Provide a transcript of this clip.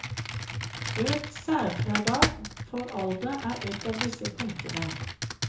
Økt særfradrag for alder er et av disse punktene.